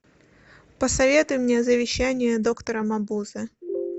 посоветуй мне завещание доктора мабузе